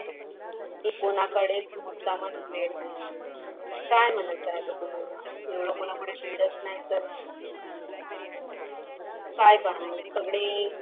ती कोणाकडेच मुद्दामच वेळ नाही. काय मान्यच आता कुणाला एवढ कुणाकडे वेडाच नाही तर काय करणार सगळे